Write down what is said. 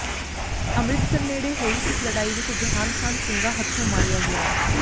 ਅਮਿੰ੍ਰਤਸਰ ਨੇੜੇ ਹੋਈ ਇਸ ਲੜਾਈ ਵਿਚ ਜਹਾਨ ਖਾਨ ਸਿੰਘਾਂ ਹੱਥੋਂ ਮਾਰਿਆ ਗਿਆ